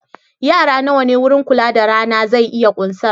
Yara nawa ne wurin kula da rana zai iya ƙunsar?